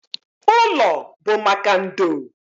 Ụlọ bụ maka ndo.